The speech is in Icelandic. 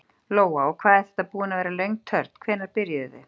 Lóa: Og hvað er þetta búin að vera löng törn, hvenær byrjuðuð þið?